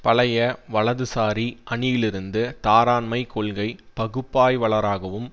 பழைய வலதுசாரி அணியிலிருந்து தாராண்மைக் கொள்கை பகுப்பாய்வளராகவும்